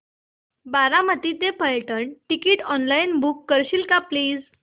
बारामती ते Phaltan ticket online book करशील का प्लीज